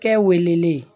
Kɛ welelen